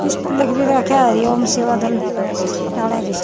इसप्ह लिख भी राख्या ह हरी ओम सेवा दल --